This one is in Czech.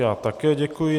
Já také děkuji.